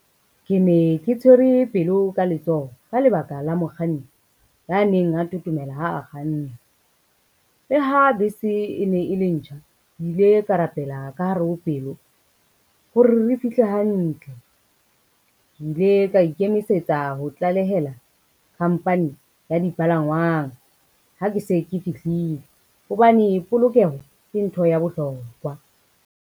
Ke ne ke tshwere pelo ka letsoho ka lebaka la mokganni ya neng a thothomela ha a kganna. Le ha bese e ne e le ntjha, kile ka rapela ka hare ho pelo hore re fihle hantle. Ke ile ka ikemisetsa ho tlalehela khampani ya dipalangwang ha ke se ke fihlile hobane, polokeho ke ntho ya bohlokwa.